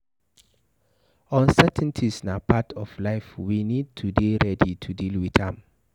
Uncertainties na part of life, we need to dey ready to deal with am